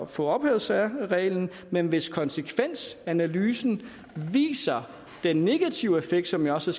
få ophævet særreglen men hvis konsekvensanalysen viser den negative effekt som jeg også